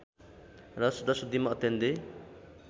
र शुद्धाशुद्धिमा अत्यन्तै